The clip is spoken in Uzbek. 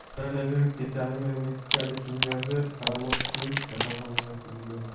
Koronavirusga chalingan meksikalik milliarder Karlos Slim kasalxonaga yotqizildi.